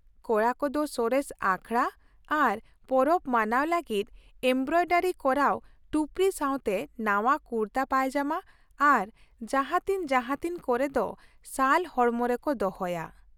ᱠᱚᱲᱟ ᱠᱚᱫᱚ ᱥᱚᱨᱮᱥ ᱟᱠᱷᱲᱟ ᱟᱨ ᱯᱚᱨᱚᱵ ᱢᱟᱱᱟᱣ ᱞᱟᱹᱜᱤᱫ ᱮᱢᱵᱨᱚᱭᱰᱟᱨᱤ ᱠᱚᱨᱟᱣ ᱴᱩᱯᱨᱤ ᱥᱟᱶᱛᱮ ᱱᱟᱶᱟ ᱠᱩᱨᱛᱟ ᱯᱟᱭᱡᱟᱢᱟ ᱟᱨ ᱡᱟᱦᱟᱸᱛᱤᱱ ᱡᱟᱦᱟᱸᱛᱤᱱ ᱠᱚᱨᱮ ᱫᱚ ᱥᱟᱞ ᱦᱚᱲᱢᱚ ᱨᱮᱠᱚ ᱫᱚᱦᱚᱭᱟ ᱾